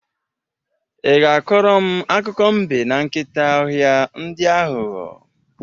Ị ga-akọrọ m akụkọ mbe na nkịta ọhịa, ndị aghọghọ?